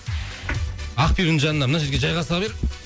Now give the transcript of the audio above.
ақбибінің жанына мына жерге жайғаса бер